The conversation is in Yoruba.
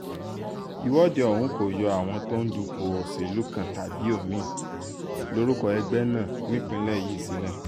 ìwọ́de ọ̀hún kò yọ àwọn tó ń dupò òṣèlú kan tàbí omi-ín lórúkọ ẹgbẹ́ náà nípìnlẹ̀ yìí sílẹ̀